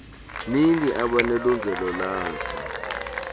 zini abanelungelo lazo